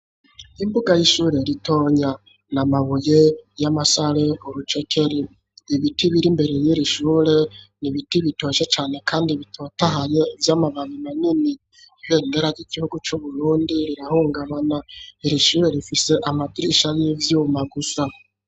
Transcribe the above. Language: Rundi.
Imbuga y'ishure ritonya na mabuye y'amasare ,urucekeri, ibiti biri mbere y'irishure nibiti bitoshe cane kandi bitotahaye vy'amababi manini, ibendendera ry'igihugu c'Uburundi rirahungabana, irishure rifise amadirisha y'ivyuma gusa.